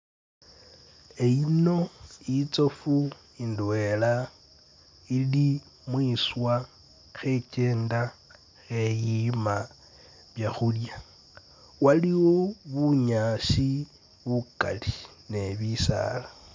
E-yino itsofu indwela ili mwiswa khekyenda kheyima byakhulya waliwo bunyaasi bukali ne bisaala